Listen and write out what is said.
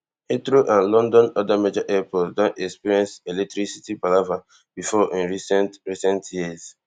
heathrow and london oda major airports don experience electricity palava before in recent recent years